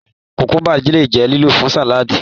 kukuba le jẹ lílò fún saladii